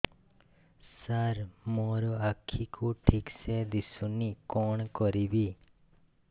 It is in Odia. ସାର ମୋର ଆଖି କୁ ଠିକସେ ଦିଶୁନି କଣ କରିବି